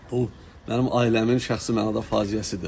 Bu mənim ailəmin şəxsi mənada faciəsidir.